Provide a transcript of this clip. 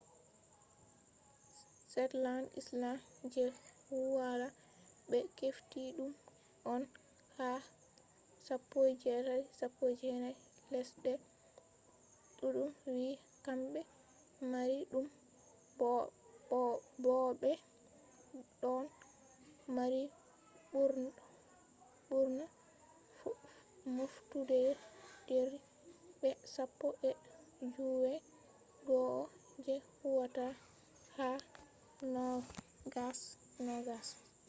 shetland island je woila ɓe hefti ɗum on ha 1819 lesɗe ɗuɗɗum wi'i kamɓe mari ɗum bo'o ɓe ɗon mari ɓurna moftuderji be sappo e joowey go'o je huwata ha 2020